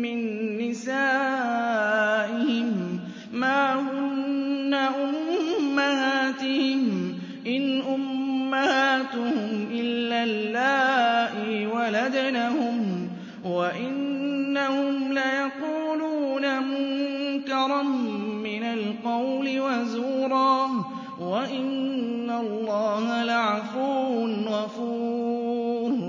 مِّن نِّسَائِهِم مَّا هُنَّ أُمَّهَاتِهِمْ ۖ إِنْ أُمَّهَاتُهُمْ إِلَّا اللَّائِي وَلَدْنَهُمْ ۚ وَإِنَّهُمْ لَيَقُولُونَ مُنكَرًا مِّنَ الْقَوْلِ وَزُورًا ۚ وَإِنَّ اللَّهَ لَعَفُوٌّ غَفُورٌ